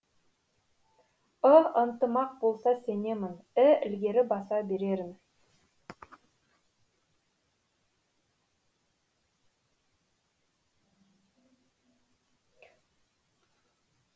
ы ынтымақ болса сенемін і ілгері баса берерін